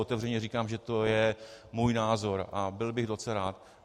Otevřeně říkám, že to je můj názor, a byl bych docela rád.